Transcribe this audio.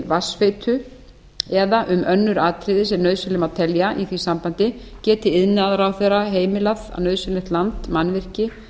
vatnsveitu eða um önnur atriði sem nauðsynleg má telja í því sambandi geti iðnaðarráðherra heimilað að nauðsynlegt land mannvirki